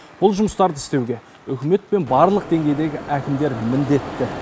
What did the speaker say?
бұл жұмыстарды істеуге үкімет пен барлық деңгейдегі әкімдер міндетті